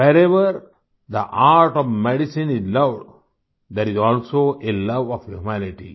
wherever the art of medicine is loved there is also a love of humanity